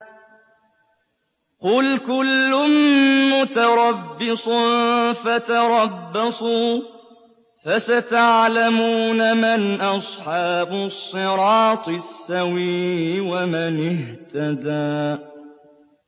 قُلْ كُلٌّ مُّتَرَبِّصٌ فَتَرَبَّصُوا ۖ فَسَتَعْلَمُونَ مَنْ أَصْحَابُ الصِّرَاطِ السَّوِيِّ وَمَنِ اهْتَدَىٰ